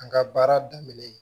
An ka baara daminɛlen